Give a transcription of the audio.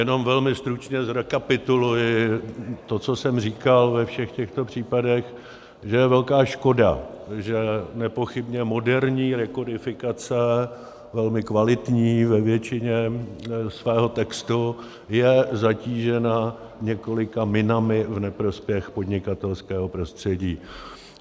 Jenom velmi stručně zrekapituluji to, co jsem říkal ve všech těchto případech, že je velká škoda, že nepochybně moderní rekodifikace, velmi kvalitní ve většině svého textu, je zatížena několika minami v neprospěch podnikatelského prostředí.